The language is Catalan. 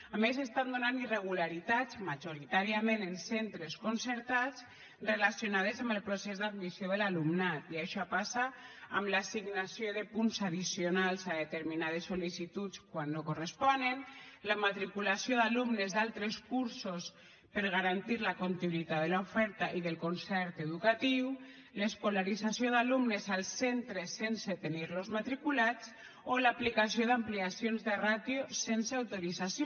a més s’estan donant irregularitats majoritàriament en centres concertats relacionades amb el procés d’admissió de l’alumnat i això passa amb l’assignació de punts addicionals a determinades sol·licituds quan no corresponen la matriculació d’alumnes d’altres cursos per garantir la continuïtat de l’oferta i del concert educatiu l’escolarització d’alumnes als centres sense tenir los matriculats o l’aplicació d’ampliacions de ràtio sense autorització